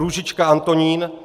Růžička Antonín